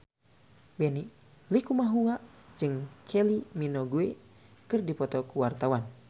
Benny Likumahua jeung Kylie Minogue keur dipoto ku wartawan